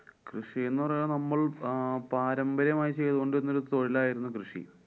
കൃഷി എന്നു പറഞ്ഞാല്‍ നമ്മള്‍ അഹ് പാരമ്പര്യം ആയി ചെയ്തുകൊണ്ടിരുന്നഒരു തൊഴില്‍ ആയിരുന്നു കൃഷി.